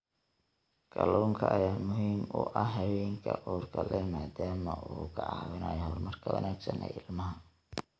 Kalluunka ayaa muhiim u ah haweenka uurka leh maadaama uu ka caawinayo horumarka wanaagsan ee ilmaha.